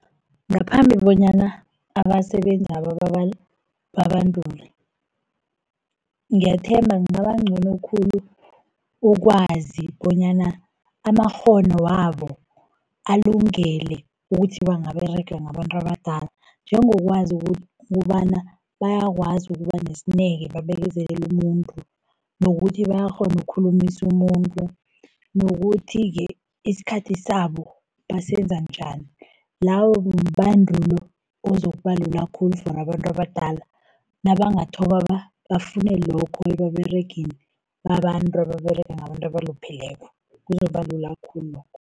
Ngaphambi bonyana abasebenzako babandulwe, ngiyathemba kungaba ngcono khulu ukwazi bonyana amakghono wabo alungele ukuthi bangaberega ngabantu abadala. Njengokwazi ukobana bayakwazi ukuba nesineke babekezelelu umuntu, nokuthi bayakghona ukukhulumisu umuntu, nokuthi-ke isikhathi sabo basebenza njani. Lawo bandulo ozokubandula khulu for abantu abadala, nabangathoma bafune lokho, ebaberegini babantu ababerega ngabantu abalupheleko, kuzoba lula khulu lokho.